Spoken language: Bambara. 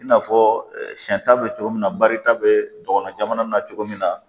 I n'a fɔ siɲɛn bɛ cogo min na barita bɛ dɔgɔnun na cogo min na